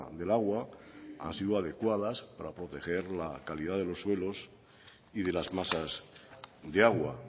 del agua han sido adecuadas para proteger la calidad de los suelos y de las masas de agua